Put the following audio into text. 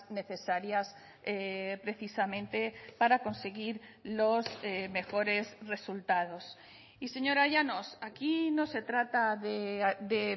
necesarias precisamente para conseguir los mejores resultados y señora llanos aquí no se trata de